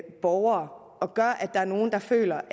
borgere og gør at der er nogle der føler